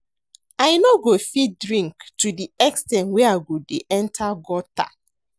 I no go fit drink to the ex ten t wey I go dey enter gutter